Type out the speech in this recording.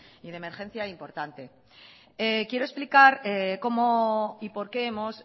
y de emergencia importante quiero explicar cómo y por qué hemos